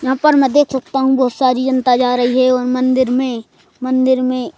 यहां पर मैं देख सकता हूं बहुत सारी जनता जा रही है और मंदिर में मंदिर में--